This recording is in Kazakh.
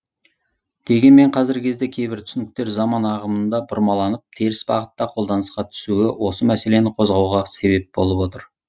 дегенмен қазіргі кезде кейбір түсініктер заман ағымында бұрмаланып теріс бағытта қолданысқа түсуі осы мәселені қозғауға себеп болып отыр